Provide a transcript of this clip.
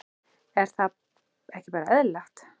Er það ekki bara eðlilegt?